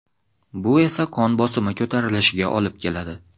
Bu esa qon bosimi ko‘tarilishiga olib keladi.